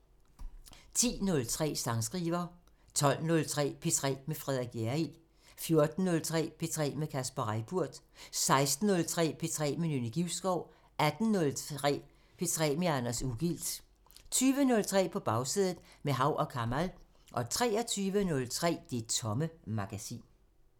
10:03: Sangskriver 12:03: P3 med Frederik Hjerrild 14:03: P3 med Kasper Reippurt 16:03: P3 med Nynne Givskov 18:03: P3 med Anders Ugilt 20:03: På Bagsædet – med Hav & Kamal 23:03: Det Tomme Magasin